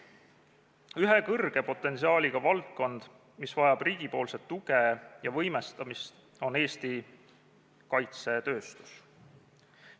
Üks suure potentsiaaliga valdkond, mis vajab riigilt tuge ja võimestamist, on Eesti kaitsetööstus.